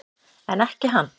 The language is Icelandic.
En ekki hann.